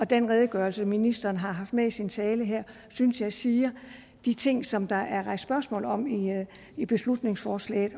den redegørelse ministeren har haft med i sin tale her synes jeg siger de ting som der er rejst spørgsmål om i beslutningsforslaget